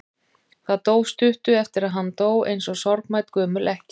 Það dó stuttu eftir að hann dó, eins og sorgmædd gömul ekkja.